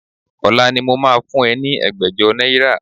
Ọ̀la ni mo máa fún ẹ ní ẹgbẹ̀jọ náírà